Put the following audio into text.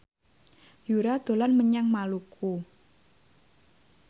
Yura dolan menyang Maluku